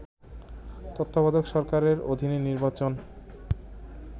তত্ত্বাবধায়ক সরকারের অধীনে নির্বাচন